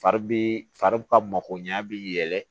Fari bi fari ka mako ɲɛ bi yɛlɛ